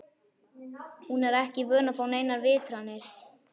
Hún er ekki vön að fá neinar vitranir.